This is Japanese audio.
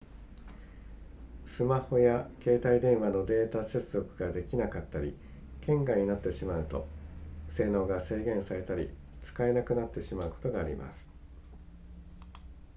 スマホや携帯電話のデータ接続ができなかったり県外になってしまうと性能が制限されたり使えなくなってしまうことがあります